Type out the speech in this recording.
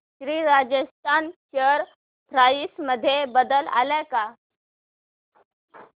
Shri Rajasthan share price मध्ये बदल आलाय का